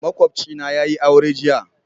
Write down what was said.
Makwabcina yayi aure jiya.